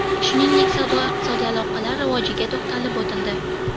Shuningdek, savdo-iqtisodiy aloqalar rivojiga to‘xtalib o‘tildi.